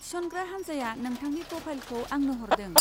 थिसनग्रा हानजाया नोंथांनि प्रफाइलखौ आंनो हरदों।